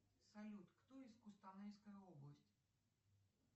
салют кто из кустанайской области